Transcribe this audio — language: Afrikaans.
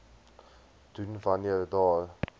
doen wanneer daar